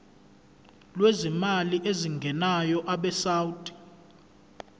lwezimali ezingenayo abesouth